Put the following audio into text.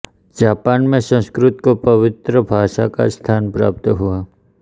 Japan में संस्कृत को पवित्र भाषा का स्थान प्राप्त हुआ